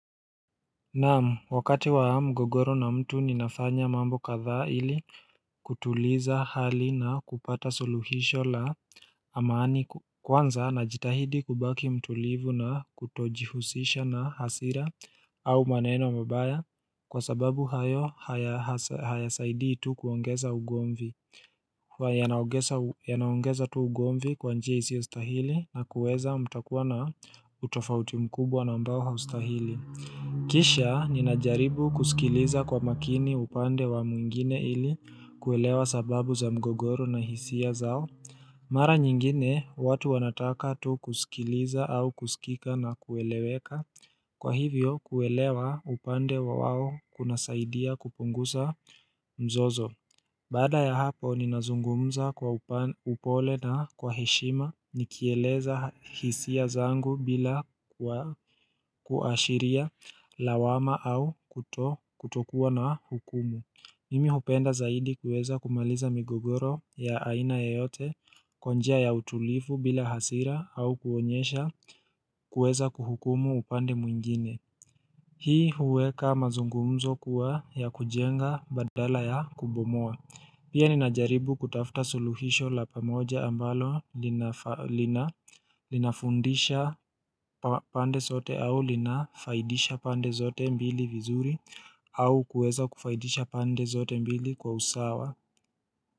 Naam wakati wa mgogoro na mtu ninafanya mambo kadhaa ili kutuliza hali na kupata soluhisho la amaani kwanza najitahidi kubaki mtulivu na kutojihusisha na hasira au maneno mabaya kwa sababu hayo hayasaidi tu kuongeza ugomvi huwa yanaongeza tu ugomvi kwa njia isio stahili na kuweza mtakuwa na utofauti mkubwa na ambao austahili Kisha ninajaribu kusikiliza kwa makini upande wa mwingine ili kuelewa sababu za mgogoro na hisia zao Mara nyingine watu wanataka tu kusikiliza au kusikika na kueleweka Kwa hivyo kuelewa upande wa wao kunasaidia kupunguza mzozo Baada ya hapo, ninazungumza kwa upole na kwa heshima nikieleza hisia zangu bila kuashiria lawama au kutokuwa na hukumu. Mimi hupenda zaidi kuweza kumaliza migogoro ya aina yoyote, kwa njia ya utulifu bila hasira au kuonyesha kuweza kuhukumu upande mwingine. Hii huweka mazungumzo kuwa ya kujenga badala ya kubomoa. Pia ninajaribu kutafta suluhisho la pamoja ambalo linafundisha pande sote au linafaidisha pande sote mbili vizuri au kuweza kufaidisha pande sote mbili kwa usawa.